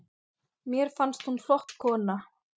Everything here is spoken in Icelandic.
Mér fannst hún flott kona.